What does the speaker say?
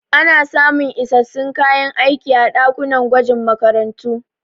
Ana samun isassun kayan aiki a ɗakunan gwajin makarantu.